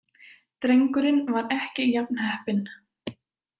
Drengurinn var ekki jafn heppinn.